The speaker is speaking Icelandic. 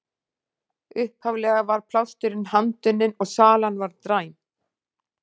Upphaflega var plásturinn handunninn og salan var dræm.